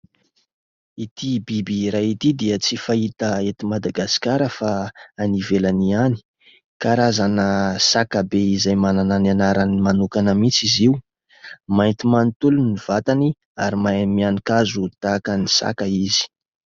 Ity biby iray ity dia tsy fahita eto Madagasikara fa any ivelany ihany. Karazana saka be izay manana ny anarany manokana mihitsy izy io. Mainty manontolo ny vatany ary mahay mihanin-kazo tahaka ny saka izy.